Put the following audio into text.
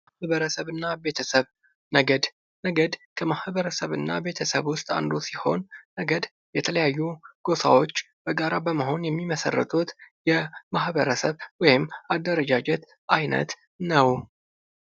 ማህበረሰብና ቤተሰብ ነገድ ነገድ ከማህበረሰብ እና ቤተሰብ ውስጥ አንዱ ሲሆን ነገድ የተለያዩ ጎሳሰዎች በአንድ ላይ በመሆን የሚመሰርቱት የማህበረሰብ ወይም አደረጃጀት አይነት ነው።